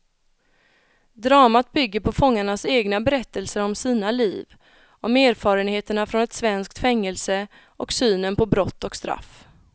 Dramat bygger på fångarnas egna berättelser om sina liv, om erfarenheterna från ett svenskt fängelse och synen på brott och straff.